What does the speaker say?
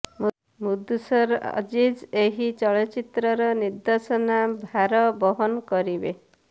ମୁଦସର୍ ଅଜିଜ୍ ଏହି ଚଳଚ୍ଚିତ୍ରର ନିର୍ଦ୍ଦେଶନା ଭାର ବହନ କରିବେ